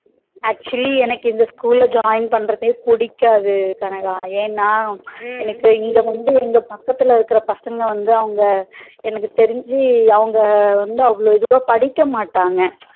Actually எனக்கு இந்த school ல join பண்றதே எனக்கு புடிக்காது கனகா ஏன்னா எனக்கு இங்க வந்து எங்க பக்கத்துல இருக்குற பசங்க வந்து அவங்க எனக்கு தெரிஞ்சு அவங்க வந்து அவ்வளவு இதுவா படிக்க மாட்டாங்க